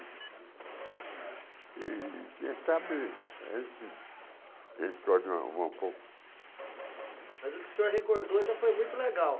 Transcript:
E quer saber, esse um pouco... Mas o que o senhor recordou já foi muito legal.